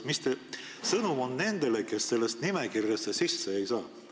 Mis teie sõnum on nendele, kes sellesse nimekirja sisse ei saa?